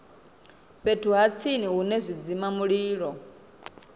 fhethu ha tsini hune zwidzimamulilo